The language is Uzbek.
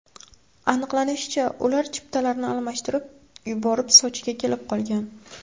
Aniqlanishicha, ular chiptalarni almashtirib yuborib, Sochiga kelib qolgan.